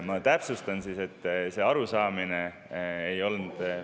Ma täpsustan siis, et see arusaamine ei olnud …